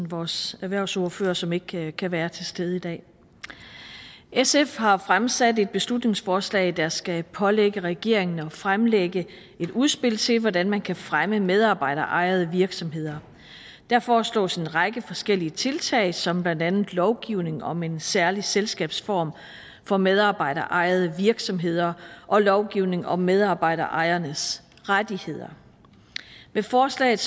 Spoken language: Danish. vores erhvervsordfører som ikke kan kan være til stede i dag sf har fremsat et beslutningsforslag der skal pålægge regeringen at fremlægge et udspil til hvordan man kan fremme medarbejderejede virksomheder der foreslås en række forskellige tiltag som blandt andet lovgivning om en særlig selskabsform for medarbejderejede virksomheder og lovgivning om medarbejderejernes rettigheder med forslaget